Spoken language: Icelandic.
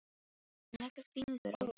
Hún leggur fingur að vörum hans.